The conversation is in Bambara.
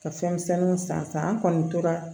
Ka fɛn misɛnninw san sa an kɔni tora